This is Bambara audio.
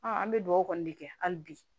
an bɛ dugawu kɔni de kɛ hali bi